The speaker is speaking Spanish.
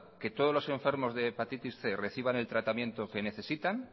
que todos los enfermos de hepatitis cien reciban el tratamiento que necesitan